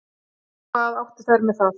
Hvað áttu þær með það?